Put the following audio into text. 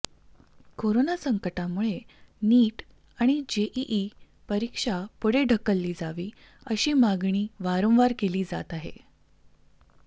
corona संकटामुळे NEET आणि JEE परीक्षा पुढे ढकलली जावी अशी मागणी वारंवार केली जात आहे